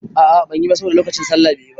A a banyi ba saboda lokacin sallah be yi ba.